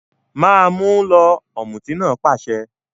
Ma mú un lọ! Ọ̀mùtí náà pàṣẹ